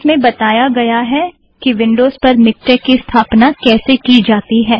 उसमें बताया गया है कि विंड़ोज़ पर मिक्टेक की स्थापना कैसे की जाती है